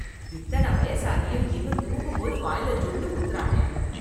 இத்தனை வயசாகியும் இன்னும் தூங்கும் போது வாய்ல ஜொள்ளு ஊத்துறானே.